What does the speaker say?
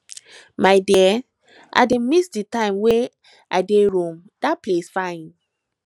my dear i dey miss the time wen i dey rome dat place fine